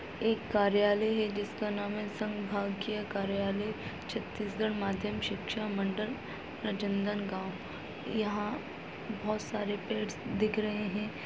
एक कार्यालय है जिसका नाम है संभागीय कार्यालय छत्तीसगढ़ माध्यम शिक्षा मंडल रज नंदनगाँव यहाँ बहुत सारे पेड्स दिख रहे हैं।